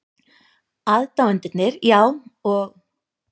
Aðdáendurnir, já, og?